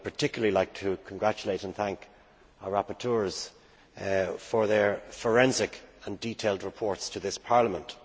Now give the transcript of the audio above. I would particularly like to congratulate and thank our rapporteurs for their forensic and detailed reports to this Parliament.